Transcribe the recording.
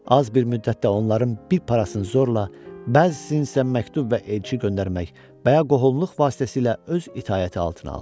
Az bir müddətdə onların bir parasını zorla, bəzisini isə məktub və elçi göndərmək və ya qohumluq vasitəsilə öz itaəti altına aldı.